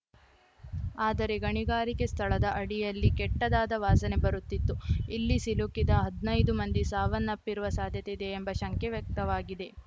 ಆದರೆ ಗಣಿಗಾರಿಕೆ ಸ್ಥಳದ ಅಡಿಯಲ್ಲಿ ಕೆಟ್ಟದಾದ ವಾಸನೆ ಬರುತ್ತಿತ್ತು ಇಲ್ಲಿ ಸಿಲುಕಿದ ಹದ್ನಾಯ್ದು ಮಂದಿ ಸಾವನ್ನಪ್ಪಿರುವ ಸಾಧ್ಯತೆಯಿದೆ ಎಂಬ ಶಂಕೆ ವ್ಯಕ್ತವಾಗಿದೆ